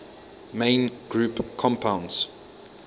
main group compounds